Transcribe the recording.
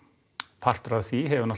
partur af því hefur